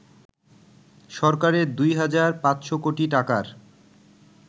সরকারের ২ হাজার ৫০০ কোটি টাকার